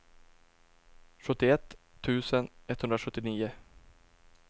sjuttioett tusen etthundrasjuttionio